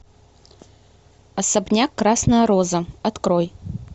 особняк красная роза открой